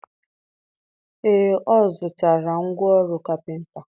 Ee, ọ zụtara ngwa ọrụ kapịnta.